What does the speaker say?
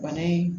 Bana in